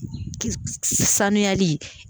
Saniyali